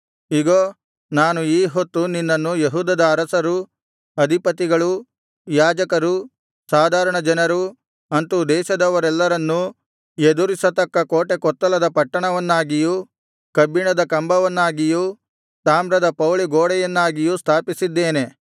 ಇಗೋ ನಾನು ಈ ಹೊತ್ತು ನಿನ್ನನ್ನು ಯೆಹೂದದ ಅರಸರು ಅಧಿಪತಿಗಳು ಯಾಜಕರು ಸಾಧಾರಣ ಜನರು ಅಂತು ದೇಶದವರೆಲ್ಲರನ್ನೂ ಎದುರಿಸತಕ್ಕ ಕೋಟೆಕೊತ್ತಲದ ಪಟ್ಟಣವನ್ನಾಗಿಯೂ ಕಬ್ಬಿಣದ ಕಂಬವನ್ನಾಗಿಯೂ ತಾಮ್ರದ ಪೌಳಿಗೋಡೆಯನ್ನಾಗಿಯೂ ಸ್ಥಾಪಿಸಿದ್ದೇನೆ